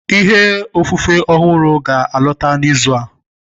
Ìhe ofufe ọhụrụ ahụ ga alọta n'izu a